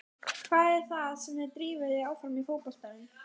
Hvað er það sem drífur þig áfram í fótboltanum?